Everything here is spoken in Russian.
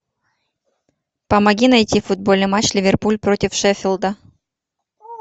помоги найти футбольный матч ливерпуль против шеффилда